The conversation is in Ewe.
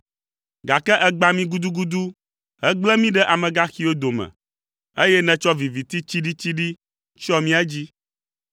Gake ègbã mí gudugudu hegble mí ɖe amegaxiwo dome, eye nètsɔ viviti tsiɖitsiɖi tsyɔ mía dzi.